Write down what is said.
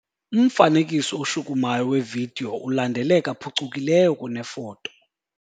Umfanekiso oshukumayo wevidiyo ulandeleka phucukileyo kunefoto.